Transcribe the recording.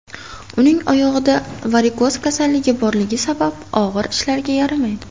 Uning oyog‘ida varikoz kasalligi borligi sabab, og‘ir ishlarga yaramaydi.